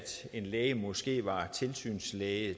en læge måske var tilsynslæge